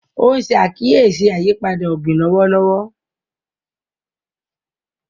o n ṣe àkíyèsí ayípadà ogbin lọwọlọwọ